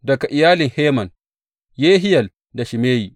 Daga iyalin Heman, Yehiyel da Shimeyi.